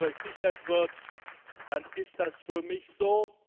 Wenn das versichert wird, dann ist das für mich so.